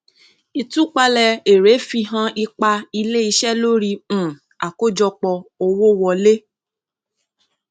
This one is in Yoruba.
ìtúpalẹ èrè fihan ipa iléiṣẹ lórí um àkójọpọ owó wọlé